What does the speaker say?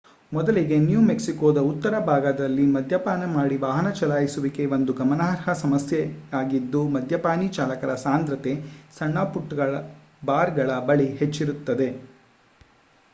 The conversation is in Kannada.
ಮೊದಲಿಗೆ ನ್ಯೂ ಮೆಕ್ಸಿಕೋದ ಉತ್ತರ ಭಾಗದಲ್ಲಿ ಮದ್ಯಪಾನ ಮಾಡಿ ವಾಹನ ಚಲಾಯಿಸುವಿಕೆ ಒಂದು ಗಮನಾರ್ಹ ಸಮಸ್ಯೆಯಾಗಿದ್ದು ಮದ್ಯಪಾನೀ ಚಾಲಕರ ಸಾಂದ್ರತೆ ಸಣ್ಣ ಪುಟ್ಟ ಬಾರ್ಗಳ ಬಳಿ ಹೆಚ್ಚಿರುತ್ತದೆ